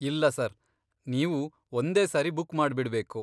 ಇಲ್ಲ ಸರ್, ನೀವು ಒಂದೇ ಸಾರಿ ಬುಕ್ ಮಾಡ್ಬಿಡ್ಬೇಕು.